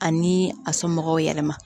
Ani a somɔgɔw yɛlɛma